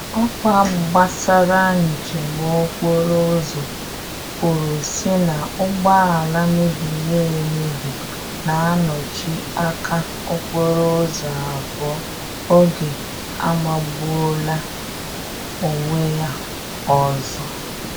Ọkwa gbasara njem okporo ụzọ kwuru sị na ụgbọala mebiri emebi na-anọchi aka okporo ụzọ abụọ oge amagbuola onwe ya ọzọ